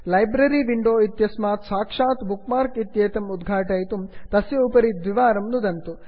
library library window इत्यस्मात् साक्षात् bookmark इत्येतम् उद्घाटयितुं तस्य उपरि द्विवारं नुदन्तु